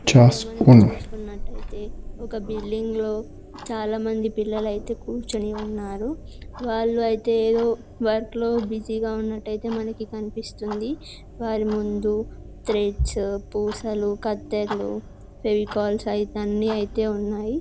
ఇందులో మనకి చూసుకున్నట్లయితే ఒక బిల్డింగ్లో చాలామంది పిల్లలు అయితే కూర్చొని ఉన్నారు. వాళ్లు అయితే వర్క్ లో బిజీ గా ఉన్నట్టు అయితే మనకి కనిపిస్తుంది. వారి ముందు థ్రెడ్స్ పూసలు కత్తెర్లు ఫెవికాల్ అయితే అన్ని అయితే ఉన్నాయి.